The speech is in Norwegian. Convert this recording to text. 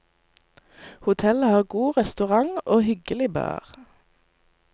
Hotellet har god restaurant og hyggelig bar.